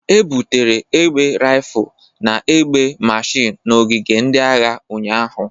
E butere egbe Rifụl na egbe mashin n'ogige ndị agha ụnyahụ.